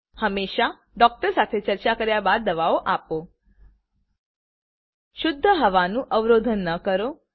હંમેશા ડૉક્ટર સાથે ચર્ચા કર્યા બાદ દવાઓ આપો શુદ્ધ હવાનું અવરોધ ન કરો